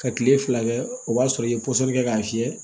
Ka kile fila kɛ o b'a sɔrɔ i ye pɔsɔni kɛ k'a fiyɛ